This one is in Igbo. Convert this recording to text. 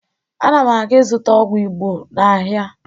Ana m aga ịzụta ọgwụ Igbo n'ahịa